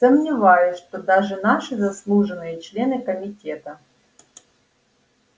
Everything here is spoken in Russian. сомневаюсь что даже наши заслуженные члены комитета